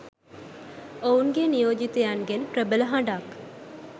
ඔවුන්ගේ නියෝජිතයින්ගෙන් ප්‍රබල හඬක්